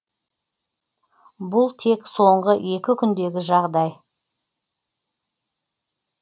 бұл тек соңғы екі күндегі жағдай